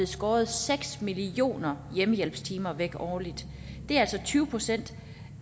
skåret seks millioner hjemmehjælpstimer væk årligt det er altså tyve procent